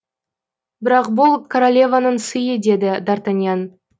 бірақ бұл королеваның сыйы деді д артаньян